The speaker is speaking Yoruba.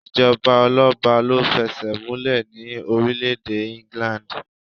Ìjọba ọlọ́ba ló fẹsẹ̀múlẹ̀ ní orílẹ̀-èdè England.